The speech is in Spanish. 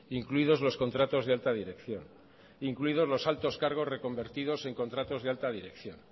incluidos los contratos de alta dirección incluidos los altos cargos reconvertidos en contratos de alta dirección